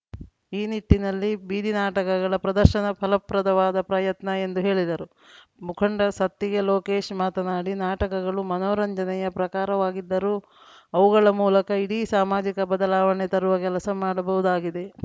ಈ ನಿಟ್ಟಿನಲ್ಲಿ ಬೀದಿನಾಟಕಗಳ ಪ್ರದರ್ಶನ ಫಲಪ್ರದವಾದ ಪ್ರಯತ್ನ ಎಂದು ಹೇಳಿದರು ಮುಖಂಡ ಸತ್ತಿಗೆ ಲೋಕೇಶ್‌ ಮಾತನಾಡಿ ನಾಟಕಗಳು ಮನೋರಂಜನೆಯ ಪ್ರಕಾರವಾಗಿದ್ದರೂ ಅವುಗಳ ಮೂಲಕ ಇಡೀ ಸಾಮಾಜಿಕ ಬದಲಾವಣೆ ತರುವ ಕೆಲಸ ಮಾಡಬಹುದಾಗಿದೆ